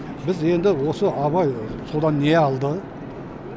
біз енді осы абай содан не алды